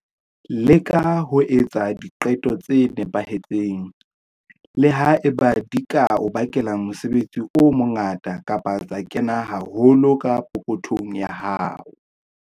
Leka ho etsa diqeto tse nepahetseng, le ha eba di ka o bakela mosebetsi o mongata kapa tsa kena haholo ka pokothong ya hao.